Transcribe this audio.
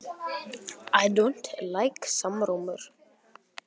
Þetta er þrekskrokkur, hugsaði hann með öfund.